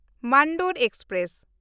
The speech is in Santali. ᱢᱟᱱᱰᱳᱨ ᱮᱠᱥᱯᱨᱮᱥ